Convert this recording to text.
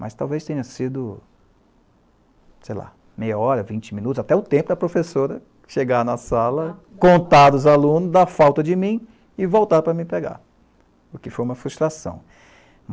mas talvez tenha sido, sei lá, meia hora, vinte minutos, até o tempo da professora chegar na sala, contar aos alunos da falta de mim e voltar para me pegar, o que foi uma frustração.